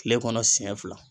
Kile kɔnɔ siɲɛ fila